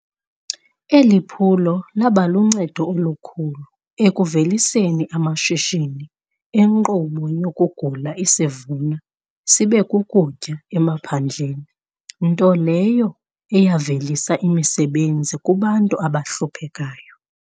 Eliphulo labaluncedo olukhulu ekuveliseni amashishini enkqubo yokugula isivuna sibekukutya emaphandleni, nto leyo eyavelisa imisebenzi kubantu abahluphekayo.